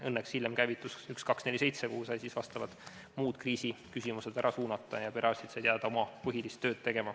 Õnneks hiljem käivitus telefon 1247, kuhu sai vastavad kriisiküsimused ära suunata, ja perearstid said jääda tegema oma põhilist tööd.